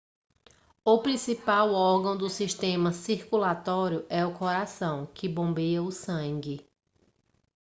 o principal órgão do sistema circulatório é o coração que bombeia o sangue